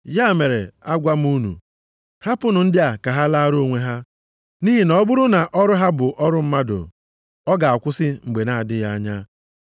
Ya mere, agwa m unu, hapụnụ ndị a ka ha laara onwe ha. Nʼihi na ọ bụrụ na ọrụ ha bụ ọrụ mmadụ, ọ ga-akwụsị mgbe na-adịghị anya.